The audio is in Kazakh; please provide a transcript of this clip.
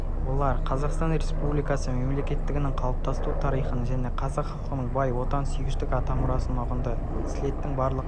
олар қазақстан республикасы мемлекеттілігінің қалыптасу тарихын және қазақ халқының бай отансүйгіштік атамұрасын ұғынды слеттің барлық